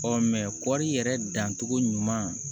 Ɔ kɔri yɛrɛ dancogo ɲuman